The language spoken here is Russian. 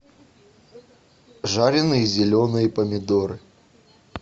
жареные зеленые помидоры